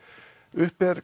uppi eru